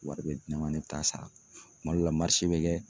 Wari bɛ di ne ma ne bi taa sara kuma dɔ la bɛ kɛ